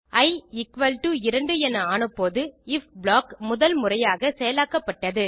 E equal to 2 என ஆனபோது if block முதல் முறையாக செயலாக்கப்பட்டது